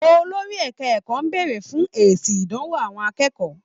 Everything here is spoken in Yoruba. Olórí ẹka ẹ̀kọ́ béèrè fún èsì ìdánwò àwọn akẹ́kọ̀ọ́.